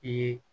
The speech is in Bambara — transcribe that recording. I ye